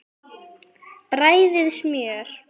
Bræðið smjör.